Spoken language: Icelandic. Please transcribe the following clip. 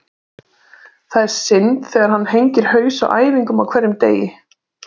Það er synd þegar hann hengir haus á æfingum á hverjum degi.